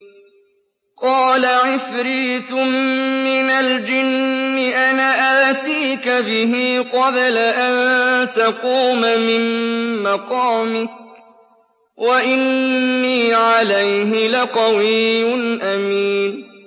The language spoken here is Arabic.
قَالَ عِفْرِيتٌ مِّنَ الْجِنِّ أَنَا آتِيكَ بِهِ قَبْلَ أَن تَقُومَ مِن مَّقَامِكَ ۖ وَإِنِّي عَلَيْهِ لَقَوِيٌّ أَمِينٌ